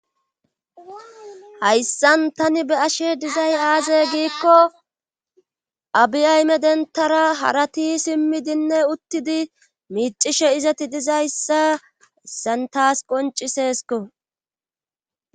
Hayssan tani be ashe dizay aaze giikko abi ayme dentara harati simmidinne uttidi miicishe izati dizayssa santas qonciseesko